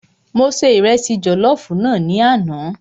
Mo se Ìrẹsi jọ̀lọ́fùú náà ní àná.